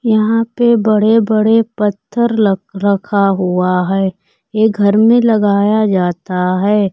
यहां पे बड़े बड़े पत्थर रखा हुआ है ये घर में लगाया जाता है।